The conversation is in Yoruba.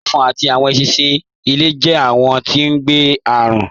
Ẹ̀fọ̀n àti awọn èṣinṣin ilẹ̀ jẹ̀ awọn tí ngbé arùn